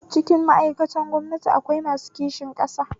Cikin ma'aikatan gwamnati akwai masu kishin ƙasa